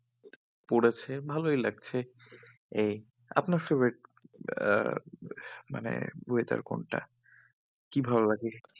পড়েছে ভালোই লাগছে এই আপনার favourite আহ মানে weather কোনটা? কি ভালো লাগে? হ্যাঁ